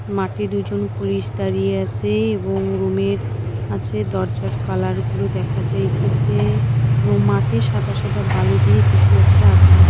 মাঠে দুজন পুলিশ দাঁড়িয়ে আছে এবং রুমের আছে দরজার কালার গুলো দেখা যাইতেসে এবং মাটি সাদা সাদা বালু দিয়ে কিছু একটা আছে।